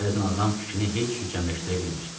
Bəzən adam fikrini heç cür cəmləşdirə bilmir.